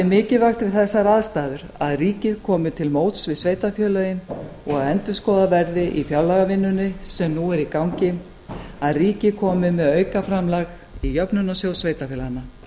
mikilvægt við þessar aðstæður að ríkið komi til móts við sveitarfélögin og endurskoðað verði í fjárlagavinnunni sem nú er í gangi að ríkið komi með aukaframlag í jöfnunarsjóð sveitarfélaganna